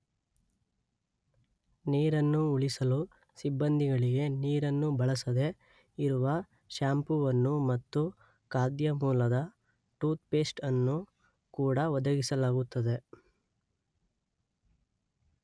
ನೀರನ್ನು ಉಳಿಸಲು ಸಿಬ್ಬಂದಿಗಳಿಗೆ ನೀರನ್ನು ಬಳಸದೆ ಇರುವ ಶ್ಯಾಂಪುವನ್ನು ಮತ್ತು ಖಾದ್ಯ ಮೂಲದ ಟೂತ್ ಪೇಸ್ಟ್ ಅನ್ನು ಕೂಡ ಒದಗಿಸಲಾಗುತ್ತದೆ.